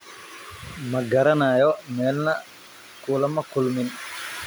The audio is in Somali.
Ma garanayo, meelna kulama kulmin.